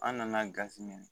An nana gazi minɛ